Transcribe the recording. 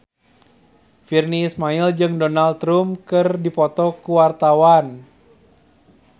Virnie Ismail jeung Donald Trump keur dipoto ku wartawan